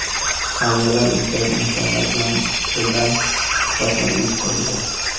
Qariyalar uyidagi insonlar bilan dildan suhbatlar uyushtirildi.